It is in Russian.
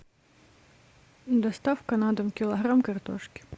доставка на дом килограмм картошки